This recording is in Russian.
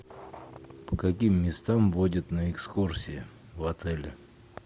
по каким местам водят на экскурсии в отеле